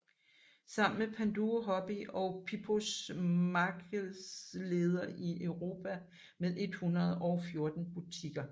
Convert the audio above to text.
Sammen blev Panduro Hobby og Pipoos markedsleder i Europa med 114 butikker